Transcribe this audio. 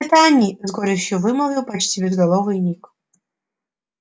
это они с горечью вымолвил почти безголовый ник